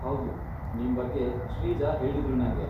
ಹೌದು, ನಿಮ್ ಬಗ್ಗೆ ಶ್ರೀಜಾ ಹೇಳಿದ್ರು ನಂಗೆ.